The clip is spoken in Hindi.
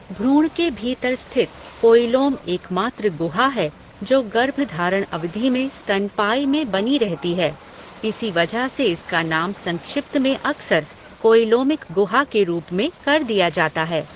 भ्रूण के भीतर स्थित कोईलोम एकमात्र गुहा है जो गर्भधारण अवधि में स्तनपायी में बनी रहती है, इसी वजह से इसका नाम संक्षिप्त में अक्सर कोईलोमिक गुहा के रूप में कर दिया जाता है।